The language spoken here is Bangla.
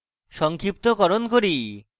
সংক্ষিপ্তকরণ করি